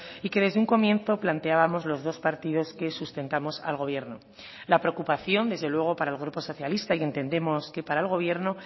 y que desde un comienzo planteábamos los dos partidos que sustentamos al gobierno la preocupación desde luego para el grupo socialista y entendemos que para el gobierno